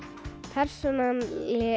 persónan